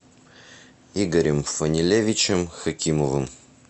игорем фанилевичем хакимовым